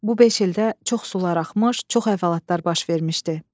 Bu beş ildə çox sular axmış, çox əhvalatlar baş vermişdi.